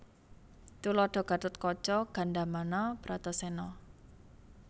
Tuladha Gatotkaca Gandamana Bratasena